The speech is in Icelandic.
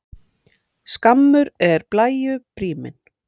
Skammur er blæju bríminn.